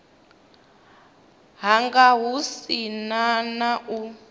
hanga hu si na u